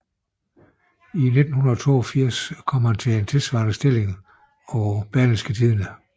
I 1982 kom han til en tilsvarende stilling på Berlingske Tidende